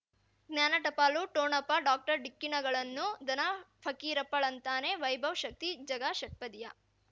ಜ್ಞಾನ ಟಪಾಲು ಠೊಣಪ ಡಾಕ್ಟರ್ ಢಿಕ್ಕಿ ಣಗಳನು ಧನ ಫಕೀರಪ್ಪ ಳಂತಾನೆ ವೈಭವ್ ಶಕ್ತಿ ಝಗಾ ಷಟ್ಪದಿಯ